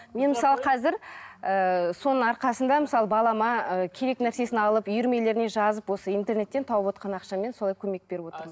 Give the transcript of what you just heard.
мен мысалы қазір ыыы соның арқасында мысалы балама ы керек нәрсесін алып үйірмелеріне жазып осы интернеттен тауып отқан ақшамен солай көмек беріп отырмын